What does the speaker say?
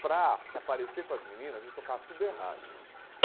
Para se aparecer para as meninas, a gente tocava tudo errado.